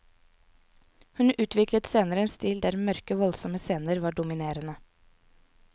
Hun utviklet senere en stil der mørke, voldsomme scener var dominerende.